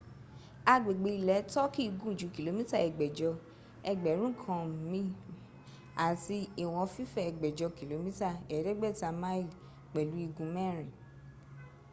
agbègbè ilẹ̀ turkey gùn ju kìlómítà ẹgbẹ̀jọ ẹgbẹ̀rún kan mi àti ìwọ̀n fífẹ̀ ẹgbẹ̀jọ kìlómítà ẹ̀ẹ́dẹ̀gbẹ̀ta mi pẹ̀lú igun mẹ́rin